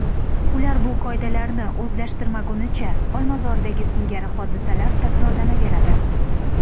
Ular bu qoidalarni o‘zlashtirishmagunicha Olmazordagi singari hodisalar takrorlanaveradi.